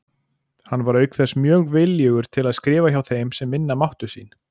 Hann var auk þess mjög viljugur til að skrifa hjá þeim sem minna máttu sín.